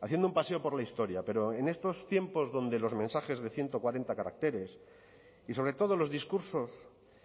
haciendo un paseo por la historia pero en estos tiempos donde los mensajes de ciento cuarenta caracteres y sobre todo los discursos